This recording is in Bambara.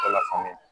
Ala faamuya